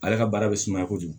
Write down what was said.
Ale ka baara bɛ sumaya kojugu